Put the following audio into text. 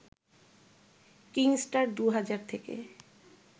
কিংস্টার ২ হাজার থেকে